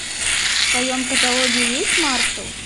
в твоем каталоге есть маршал